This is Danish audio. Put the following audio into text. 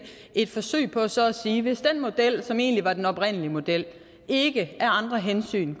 et forsøg på så at sige at hvis den model som egentlig var den oprindelige model ikke af andre hensyn